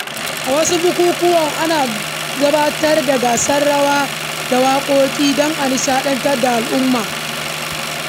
A wasu bukukuwan, ana gabatar da gasar rawa da waƙoƙi don ƙara wa taro armashi.